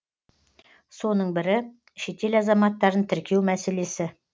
соның бірі шетел азаматтарын тіркеу мәселесі